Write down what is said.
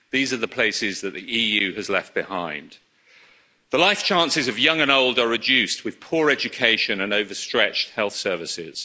These are the places that the EU has left behind. The life chances of young and old are reduced with poor education and overstretched health services.